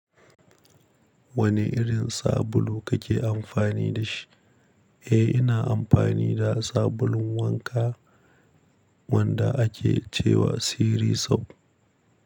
Wane irin sabulu kake amfani da shi? Eh, ina amfani da sabulun wanka wanda ake ce wa Siri soap.